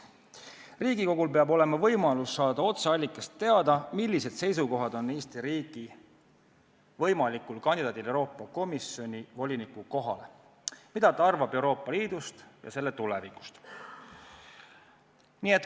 Riigikogul aga peab olema võimalus saada otseallikast teada, millised seisukohad on Eesti riigi võimalikul kandidaadil Euroopa Komisjoni voliniku kohale, mida ta arvab Euroopa Liidust ja selle tulevikust.